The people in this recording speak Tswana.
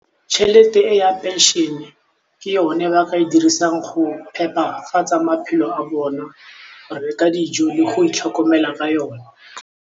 Tšhelete e ya pension-e ke yone ba ka e dirisang go phepafatsa maphelo a bona, ba bereka dijo le go itlhokomela ka yone.